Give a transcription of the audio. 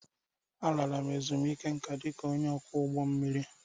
M lara ezumike nká dị ka onye ọkwọ ụgbọ mmiri